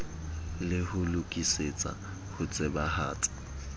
le ho lokisetsa ho tsebahatsa